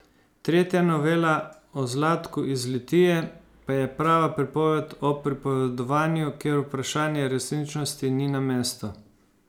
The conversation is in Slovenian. Tretja novela, o Zlatku iz Litije, pa je prava pripoved o pripovedovanju, kjer vprašanje resničnosti ni na mestu.